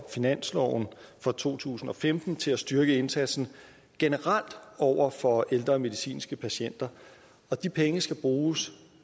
finansloven for to tusind og femten til at styrke indsatsen generelt over for ældre medicinske patienter og de penge skal bruges